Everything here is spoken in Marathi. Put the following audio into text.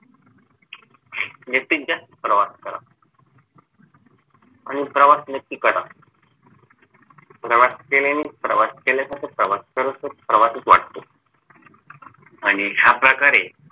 आणि ह्याप्रकारे प्रवास करा आणि प्रवास नक्की करा प्रवास केल्याने प्रवास केल्यासारखं प्रवास करतंच प्रवासच वाटतो आणि ह्या प्रकारे